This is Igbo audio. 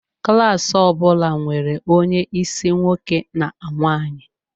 Klas ọ bụla nwere onye isi nwoke na nwaanyi.